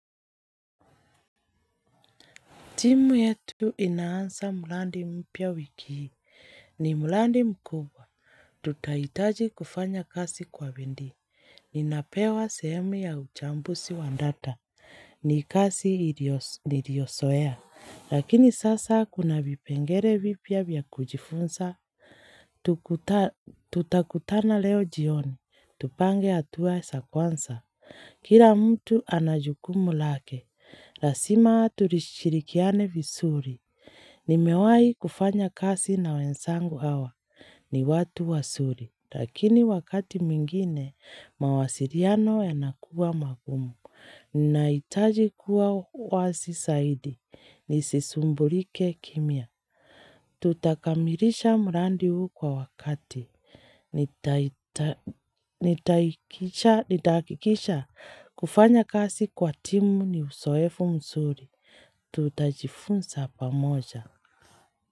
Timu yetu inaanza mulandi mpya wiki hii. Ni mulandi mkubwa. Tutahitaji kufanya kasi kwa bindi. Ninapewa sehemu ya uchambusi wandata. Ni kasi niriosoea. Lakini sasa kuna vipengere vipya vya kujifunsa. Tutakutana leo jioni. Tupange atua sakwansa. Kira mtu anajukumu lake. Rasima tulishirikiane visuri. Nimewai kufanya kasi na wensangu awa. Ni watu wasuri. Lakini wakati mwingine, mawasiriano yanakuwa magumu. Naitaji kuwa wasi saidi. Nisisumbulike kimia. Tutakamirisha mrandi huu kwa wakati. Nitahakikisha kufanya kasi kwa timu ni usoefu msuri. Tutajifunsa pamoja.